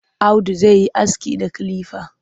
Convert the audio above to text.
Audu zai yi aski da kilifa.